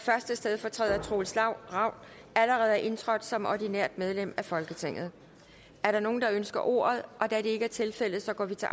første stedfortræder troels ravn allerede er indtrådt som ordinært medlem af folketinget er der nogen der ønsker ordet da det ikke er tilfældet går vi til